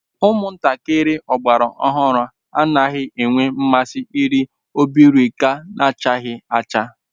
Umuntakiri ogbara ohuru anaghi enwe nmasi iri obirika nachaghi acha